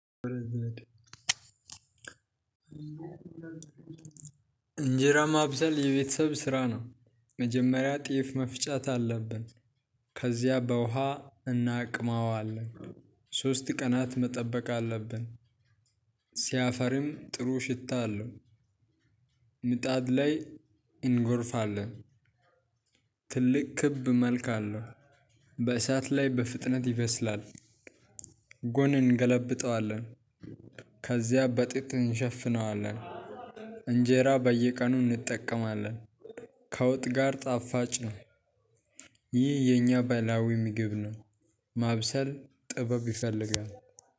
እንጀራ ማብሰል የቤተሰብ ስራ ነው። መጀመሪያ ጤፍ መፍጨት አለብን። ከዚያ በውሃ እናቅማዋለን ሶስት ቀናት መጠበቅ አለብን ሲያፈርም ጥሩ ሽታ አለው ምጣድ ላይ እንጎርፋለን ትልቅ ክብ መልክ አለ በእሳት ላይ በፍጥነት ይበስላል። ጎን እንገለብጠዋለን ከዚያ በጥጥ እንሸፍነዋለን እንጀራ በየቀኑ እንጠቀማለን። ከውጥ ጋር ጣፋጭ ነው። ይህ የኛ ባህላዊ ምግብ ነው። ማብሰል ጥበብ ይፈልጋል።